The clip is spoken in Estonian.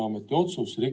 Hea ettekandja, suur tänu!